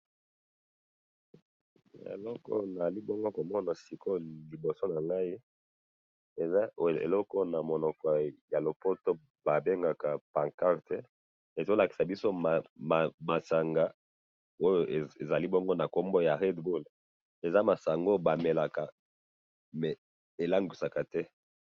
Eloko oyo nazalibongo komona sikoyo liboso nangayi, eza eloko oyo namunoko yalopoto babengaka pancarte, ezolakisa biso masanga oyo ezali bongo nakombo ya red bull, eza masanga oyo bamelaka, mais elangwisaka te